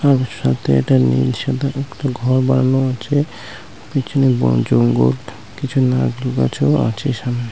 তার সাথে একটা নীল সাদা ঘর বানানো আছে। পেছনে বন জঙ্গল নারকেল গাছও আছে সামনে।